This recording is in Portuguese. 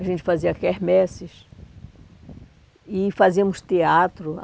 A gente fazia quermesses e fazíamos teatro.